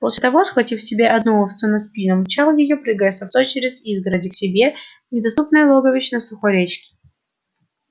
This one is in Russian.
после того схватив себе одну овцу на спину мчал её прыгая с овцой через изгороди к себе в недоступное логовище на сухой речке